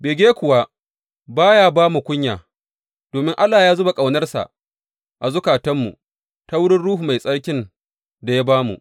Bege kuwa ba ya ba mu kunya, domin Allah ya zuba ƙaunarsa a zukatanmu ta wurin Ruhu Mai Tsarkin da ya ba mu.